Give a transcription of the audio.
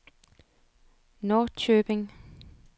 Norrköping